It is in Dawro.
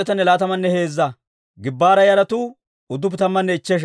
Raamanne Gebaa'a katamatuwaa Asay 621.